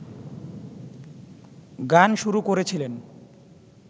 গান শুরু করেছিলেন